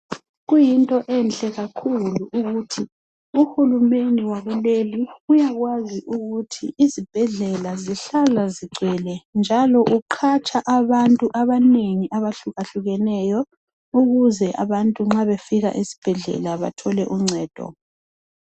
Kuyinto enhle kakhulu ukuthi UHulumende wakuleli uyakwazi ukuthi izibhedlela zihlala zigcwele njalo uqhatsha abantu abanengi abahlukahlukeneyo ukuze abantu nxa befika esibhedlela bathole uncedo.